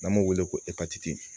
N'an b'o wele ko